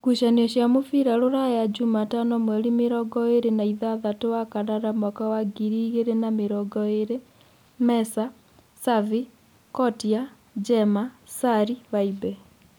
Ngucanio cia mũbira Rũraya Jumatano mweri mĩrongoĩrĩ na ithathatũ wa kanana mwaka wa ngiri igĩrĩ na mĩrongoĩrĩ: Mesa, Savi, Kotio, Jema, Sari, vaibe.